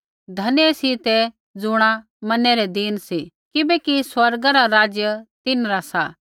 धन्य सी ते ज़ुणा मनै रै दीन सी किबैकि स्वर्गा रा राज्य तिन्हरा सा